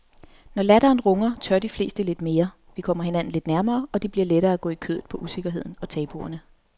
Når latteren runger tør de fleste lidt mere, vi kommer hinanden lidt nærmere og det bliver lettere at gå i kødet på usikkerheden og tabuerne.